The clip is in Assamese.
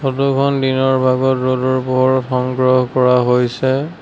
ফটোখন দিনৰ ভাগত ৰ'দৰ পোহৰত সংগ্ৰহ কৰা হৈছে।